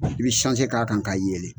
I bi sanse k'a kan k'a yeelen.